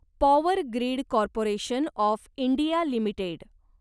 power grid corporation of India limited